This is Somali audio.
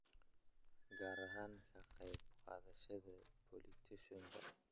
gaar ahaan ka qayb qaadashada pollination-ka